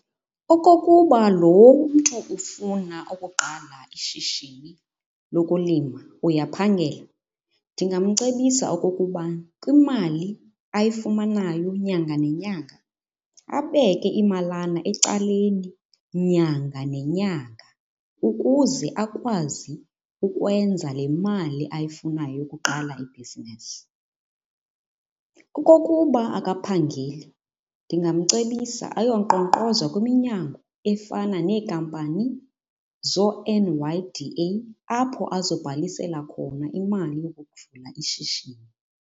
Okokuba lo mntu ufuna ukuqala ishishini lokulima uyaphangela ndingamcebisa okokuba kwimali ayifumanayo nyanga nenyanga abeke imalana ecaleni nyanga nenyanga ukuze akwazi ukwenza le mali ayifunayo ukuqala ibhizinisi. Okokuba akaphangeli ndingamcebisa ayonkqonkqoza kwiminyango efana neenkampani zoo-N_Y_D_A apho azobhalisela khona imali yokukuvula ishishini.